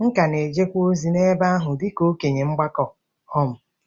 M ka na-ejekwa ozi n’ebe ahụ dị ka okenye ọgbakọ um.